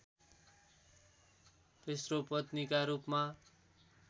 तेस्रो पत्नीका रूपमा